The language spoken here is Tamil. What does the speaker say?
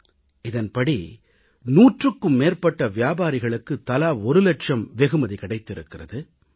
இந்தத் திட்டத்தின்படி நூற்றுக்கும் மேற்பட்ட வியாபாரிகளுக்குத் தலா ஒரு இலட்சம் வெகுமதி கிடைத்திருக்கிறது